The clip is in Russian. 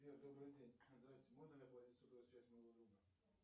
сбер добрый день здрасьте можно ли оплатить сотовую связь моего друга